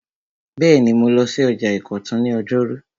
Bẹ́ẹ̀ni, mo lọ sí ọjà ìkọ̀tún ní ọjọ́rú